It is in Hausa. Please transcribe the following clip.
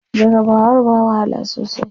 Jarabawar ba wahala sosai.